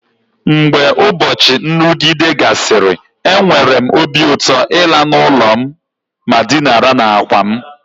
Mgbe ụbọchị nrụgide gasịrị, enwere m obi ụtọ ịla n'ụlọ ma dinara n'àkwà m.